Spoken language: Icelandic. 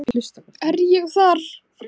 Er ég þar?